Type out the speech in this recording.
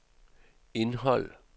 indhold